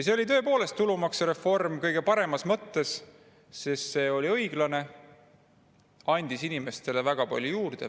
See oli tõepoolest tulumaksureform selle kõige paremas mõttes, sest see oli õiglane ja andis inimestele väga palju juurde.